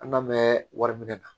An ka mɛn wari minɛ na